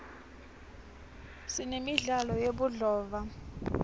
sinemidlalo yebudlova